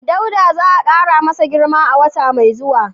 Dauda za a kara masa girma a wata mai zuwa